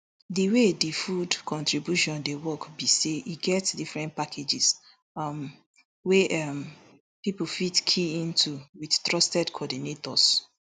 di way di food contribution dey work be say e get different packages um wey um pipo fit key into wit trusted coordinators